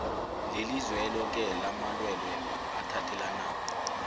lelizweloke lamalwelwe athelelanako